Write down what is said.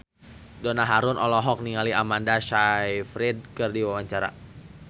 Donna Harun olohok ningali Amanda Sayfried keur diwawancara